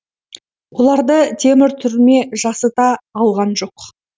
оларды темір түрме жасыта алған жоқ